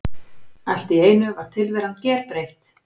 Allt í einu var tilveran gerbreytt.